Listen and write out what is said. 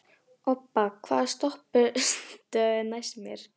Obba, hvaða stoppistöð er næst mér?